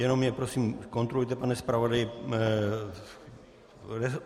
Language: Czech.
Jenom mě, prosím, kontrolujte, pane zpravodaji.